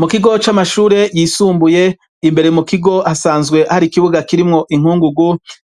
Mu kigo c'amashure yisumbuye imbere mu kigo hasanzwe hari ikibuga kirimwo inkungugu